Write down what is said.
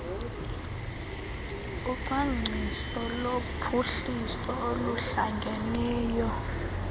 ucwangciso lophuhliso oluhlangeneyo